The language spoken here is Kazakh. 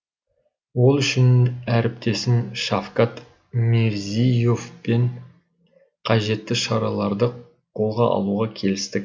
ол үшін әріптесім шавкат мирзие евпен қажетті шараларды қолға алуға келістік